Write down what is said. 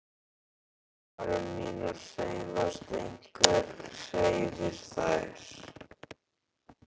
Varir mínar hreyfast, einhver hreyfir þær.